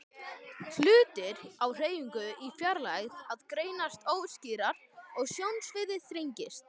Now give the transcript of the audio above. Hlutir á hreyfingu í fjarlægð greinast óskýrar og sjónsviðið þrengist.